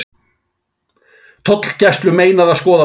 Tollgæslu meinað að skoða flugvél